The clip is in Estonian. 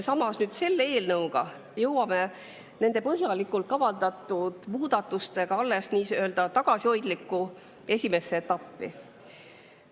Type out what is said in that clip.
Samas, selle eelnõuga jõuame nende põhjalikult kavandatud muudatustega alles nii-öelda tagasihoidlikku esimesse etappi.